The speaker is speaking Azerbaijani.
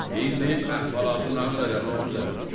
Deyin indi əhvalatı nağır elə Novruzəli.